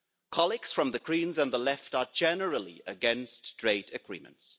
Colleagues from the Greens and the left are generally against trade agreements.